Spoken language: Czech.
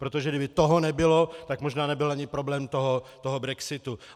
Protože kdyby toho nebylo, tak možná nebyl ani problém toho brexitu.